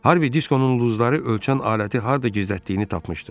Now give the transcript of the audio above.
Harvi Diskonun ulduzları ölçən aləti harda gizlətdiyini tapmışdı.